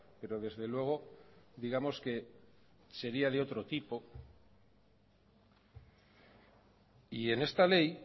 pero desde luego digamos que sería de otro tipo y en esta ley